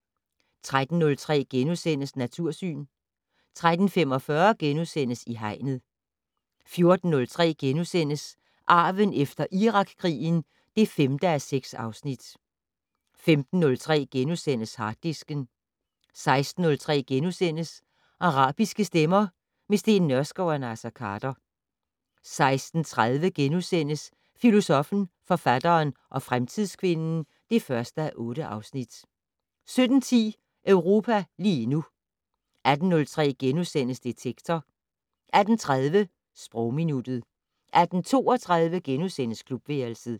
13:03: Natursyn * 13:45: I Hegnet * 14:03: Arven efter Irakkrigen (5:6)* 15:03: Harddisken * 16:03: Arabiske stemmer - med Steen Nørskov og Naser Khader * 16:30: Filosoffen, forfatteren og fremtidskvinden (1:8)* 17:10: Europa lige nu 18:03: Detektor * 18:30: Sprogminuttet 18:32: Klubværelset *